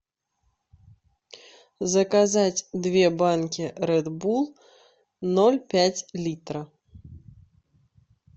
заказать две банки ред булл ноль пять литра